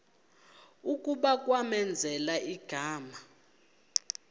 kuba kwamenzela igama